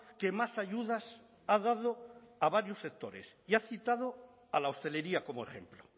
que más ayudas ha dado a varios sectores y ha citado a la hostelería como ejemplo